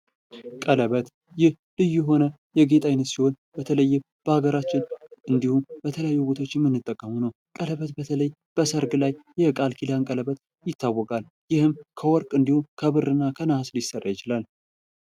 ቀለበት ይህ ልዩ የሆነ የጌጥ ዓይነት ሲሆን በተለይ በሀገራችን እንዲሁም በተለያዩ ቦታዎችም የምንጠቀመው ነው። ቀለበት በተለይ በሰርግ ላይ ቃልኪዳን ቀለበት ይታወቃል። ይህም ከወርቅ እንዲሁም ከብርና ከነሃስ ሊሰራ ይችላል።